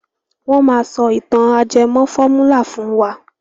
Wọ́n maá sọ ìtàn ajẹmọ́ fọ́múlà fún wa.